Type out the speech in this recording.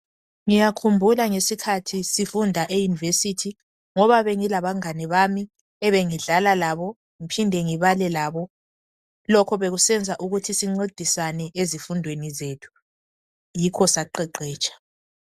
Ngiyakhumbula ngesikhathi sifunda eUniversity ngoba bengilabangane bami ebengidlala labo ngiphinde ngibale labo. Lokho bekusenza ukuthi sincedisane ezifundweni zethu. Yikho saqeqetsha.